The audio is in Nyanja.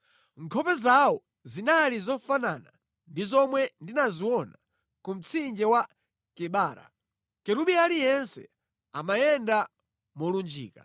Nkhope zawo zinali zofanana ndi zomwe ndinaziona ku mtsinje wa Kebara. Kerubi aliyense amayenda molunjika.